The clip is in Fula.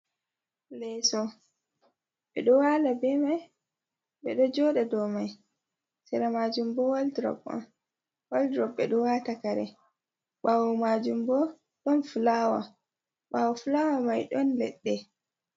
Leso ɓe ɗo wala be mai, ɓe ɗo joda dow mai, sera majum bo waldrop ɓe ɗo wata kare, ɓawo majum bo ɗon flawa ɓawo flawa mai don leɗɗe.